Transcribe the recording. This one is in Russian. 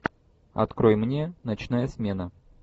открой мне ночная смена